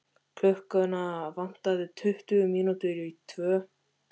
Klukkuna vantaði tuttugu mínútur í tvö.